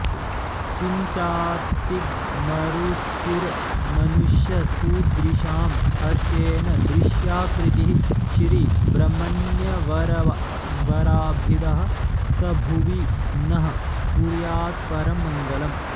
किञ्चातिग्मरुचिर्मनुष्यसुदृशां हर्षेण दृश्याकृतिः श्रीब्रह्मण्यवराभिदः स भुवि नः कुर्यात्परं मङ्गलम्